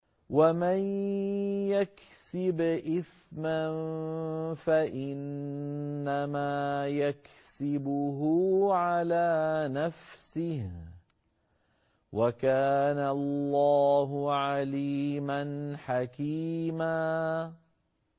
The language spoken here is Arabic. وَمَن يَكْسِبْ إِثْمًا فَإِنَّمَا يَكْسِبُهُ عَلَىٰ نَفْسِهِ ۚ وَكَانَ اللَّهُ عَلِيمًا حَكِيمًا